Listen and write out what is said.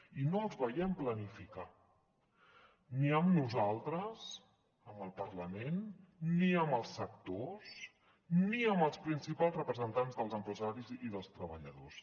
i no els veiem planificar ni amb nosaltres amb el parlament ni amb els sectors ni amb els principals representants dels empresaris i dels treballadors